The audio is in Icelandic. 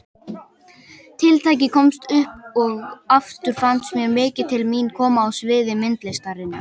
Tiltækið komst upp og aftur fannst mér mikið til mín koma á sviði myndlistarinnar.